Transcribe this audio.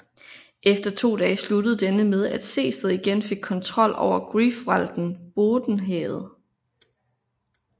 Efter to dage sluttet denne med at Sehested igen fik kontrol over Greifswalden Bodden havet